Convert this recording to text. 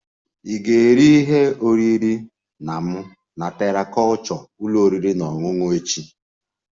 Ị ga-eri nri ehihie na m na Terra kulture ụlọ oriri na ọṅụṅụ echi?